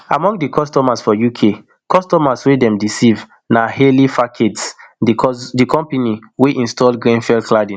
among di customers for uk customers wey dem deceive na harley facades di company wey install grenfell cladding